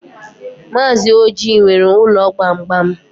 Mazi Ọji nwere ụlọ gbamgbam.